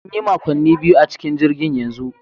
Mun yi makonni biyu a cikin jirgin yanzu